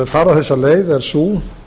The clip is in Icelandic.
fara þessa leið er sú